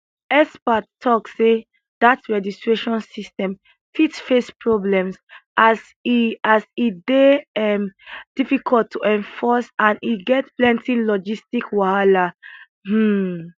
experts tok say dat registration system fit face problems as e as e dey um difficult to enforce and e get plenty logistic wahala um